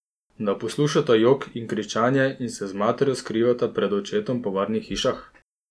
Da poslušata jok in kričanje in se z materjo skrivata pred očetom po varnih hišah?